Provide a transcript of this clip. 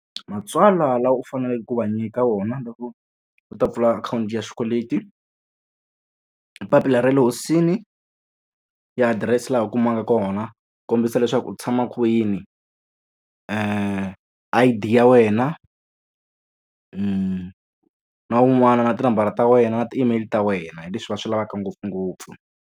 Matsalwa lawa u faneleke ku va nyika wona loko u ta pfula akhawunti ya xikweleti. I papila ra le hosini ya adirese laha u kumaka kona, ku kombisa leswaku u tshama kwini. I_D ya wena, na wun'wana na tinambara ta wena na ti-email ta wena. Hi leswi va swi lavaka ngopfungopfu.